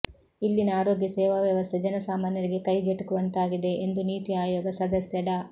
ಇಲ್ಲಿನ ಆರೋಗ್ಯ ಸೇವಾ ವ್ಯವಸ್ಥೆ ಜನಸಾಮಾನ್ಯರಿಗೆ ಕೈಗೆಟುಕದಂತಾಗಿದೆ ಎಂದು ನೀತಿ ಆಯೋಗ ಸದಸ್ಯ ಡಾ